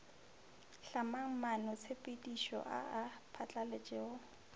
hlamang maanotshepedišo a a phatlaletšego